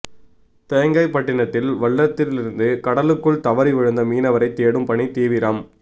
தேங்காய்பட்டினத்தில் வள்ளத்திலிருந்து கடலுக்குள் தவறி விழுந்த மீனவரை தேடும் பணி தீவிரம்